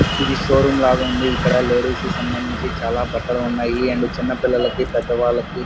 ఇది showroom room లాగా ఉంది ఇక్కడ లేడీస్ కు సంబంధించిన చాలా బట్టలు ఉన్నాయి అండ్ చిన్న పిల్లలకి పెద్ద వాళ్లకి --